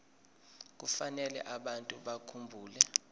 kufanele abantu bakhumbule